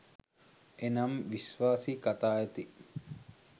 එනම්, විශ්වාසී කතා ඇති